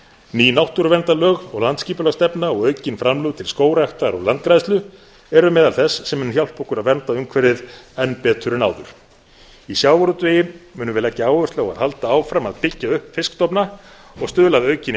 ný náttúruverndarlög og landsskipulagsstefna og aukin framlög til skógræktar og landgræðslu eru meðal þess sem mun hjálpa okkur að vernda umhverfið enn betur en áður í sjávarútvegi munum við leggja áherslu á að halda áfram að byggja upp fiskstofna og stuðla að aukinni